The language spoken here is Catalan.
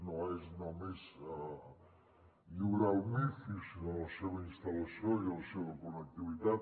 no és només lliurar el mifi sinó la seva instal·lació i la seva connectivitat